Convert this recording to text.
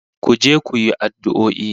Ku je ku yi addu'o'i